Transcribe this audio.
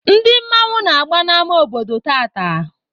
Ndị mmanwụ na-agba n'ama obodo tata.